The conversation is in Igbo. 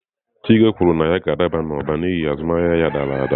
Chike kwuru na ya ga-adaba n'ụba n'ihi azụmahịa ya dara ada.